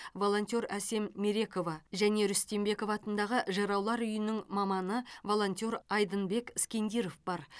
волонтер әсем мерекова мен рүстембеков атындағы жыраулар үйінің маманы волонтер айдынбек скендиров бар